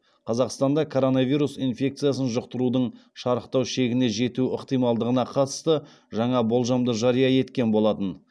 қазақстанда коронавирус инфекциясын жұқтырудың шарықтау шегіне жету ықтималдығына қатысты жаңа болжамды жария еткен болатын